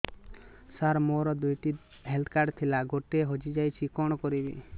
ସାର ମୋର ଦୁଇ ଟି ହେଲ୍ଥ କାର୍ଡ ଥିଲା ଗୋଟେ ହଜିଯାଇଛି କଣ କରିବି